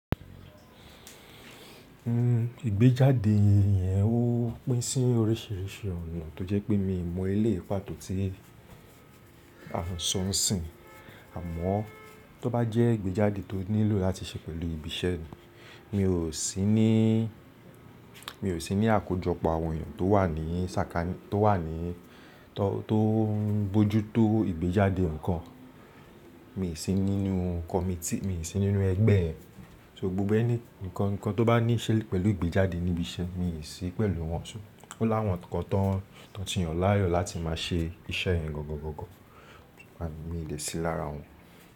Nn, ìgbéjáde yẹn ó pín sí oríṣìíríṣìí ọ̀nà tó jẹ́ pé mi ò mọ ilé ìpàtó tí a ń sọ ń sìn, àmọ́ tó bá jẹ́ ìgbéjáde tó nílò láti ṣe pẹ̀lú ibi iṣẹ́ mi, mi ò sí ní, mi ò sí ní àkójọpọ̀ àwọn èèyàn tó wà ní sàkání tó wà ní tó ń bójú tó ìgbéjáde nǹkan. Mi ò sí nínú kọmitì, mi ò sí nínú ẹgbẹ́ rẹ̀. So gbogbo ẹni, ǹkan tó bá níṣe pẹ̀lú ìgbéjáde ní ibi iṣẹ́ mi, mi ò sí pẹ̀lú wọn ṣó. Ó láwọn kan tọ ti yàn láàyò láti má ṣe iṣẹ́ yẹn gọ̀gọ̀gọ̀gọ̀, and mi dè sí lára wọn.